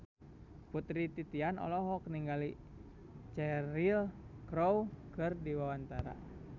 Putri Titian olohok ningali Cheryl Crow keur diwawancara